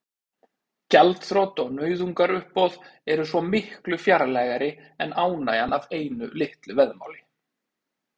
Gjaldþrot og nauðungaruppboð eru svo miklu fjarlægari en ánægjan af einu litlu veðmáli.